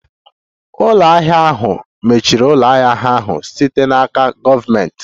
Ụlọ ahịa ahụ mechiri ụlọ ahịa ahụ site n'aka gọọmentị.